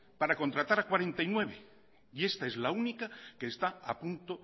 para contratar a cuarenta y nueve y esta es la única que está a punto